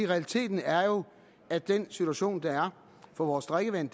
realiteten er jo at den situation der er for vores drikkevand